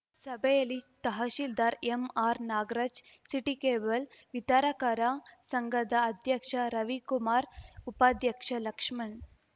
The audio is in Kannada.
ಸಭೆಯಲ್ಲಿ tahsildar MR Nagaraj city cable ವಿತರಕರ ಸಂಘದ ಅಧ್ಯಕ್ಷ ರವಿಕುಮಾರ್‌ ಉಪಾಧ್ಯಕ್ಷ ಲಕ್ಷ್ಮಣ್‌